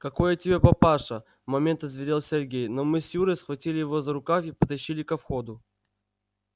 какой я тебе папаша в момент озверел сергей но мы с юрой схватили его за рукав и потащили ко входу